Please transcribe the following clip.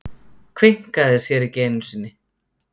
Kveinkaði sér ekki einu sinni.